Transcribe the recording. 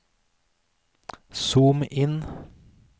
zoom inn